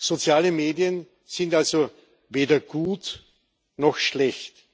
Soziale Medien sind also weder gut noch schlecht.